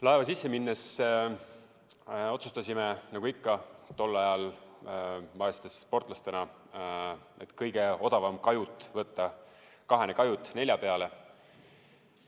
Laeva sisse minnes otsustasime nagu ikka tol ajal vaeste sportlastena, et kõige odavam on võtta kahene kajut nelja peale.